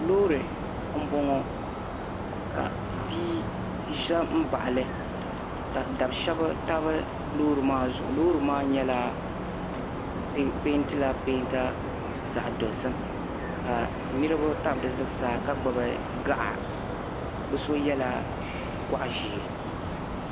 Loori m boŋɔ ka bia ʒɛ m baɣali ka dab'sheba tabi loori maa zuɣu loori maa pentila penta zaɣa dozim ka niriba tam di zuɣusaa ka gbibi gaɣa bɛ so yela gɔɣa ʒee.